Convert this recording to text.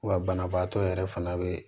Wa banabaatɔ yɛrɛ fana bɛ